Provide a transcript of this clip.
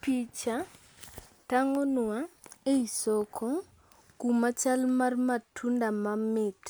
Picha tang'onwa e i soko kuma chal mar matunda mamit